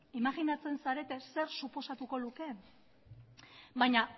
imajinatzen zarete zer suposatuko lukeen baina